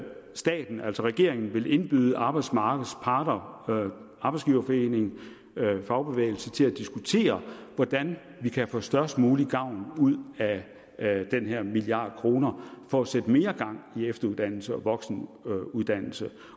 staten altså regeringen vil indbyde arbejdsmarkedets parter arbejdsgiverforening og fagbevægelse til at diskutere hvordan vi kan få størst mulig gavn af den her milliard kroner for at sætte mere gang i efteruddannelse og voksenuddannelse